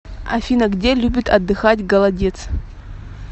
афина где любит отдыхать голодец